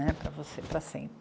Né? Para você, para sempre.